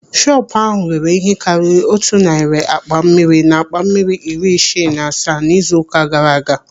Shọpu ahụ rere ihe karịrị otu narị akpa mmiri na akpa mmiri iri isii na asaa n'izu ụka gaara aga.